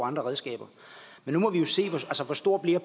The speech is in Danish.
andre redskaber men nu må vi jo se hvor stor